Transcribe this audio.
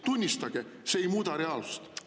Tunnistage, see ei muuda reaalsust.